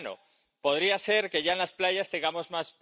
Moreover, measures to reduce plastic waste